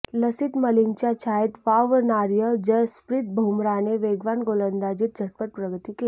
लसिथ मलिंगाच्या छायेत वावणार्या जसप्रीत बुमराहने वेगवान गोलंदाजीत झटपट प्रगती केली